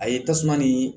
A ye tasuma nii